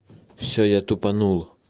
все я тупанул